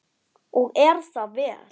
Og er það vel.